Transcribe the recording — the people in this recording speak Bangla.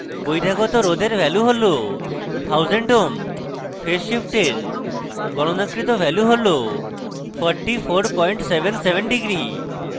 বহিরাগত রোধের value হল 1000 ohm phase শিফটের গণনাকৃত value হল 4477 degrees